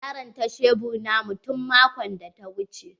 Ya ranta shebur na mu tun maƙon da ta wuche.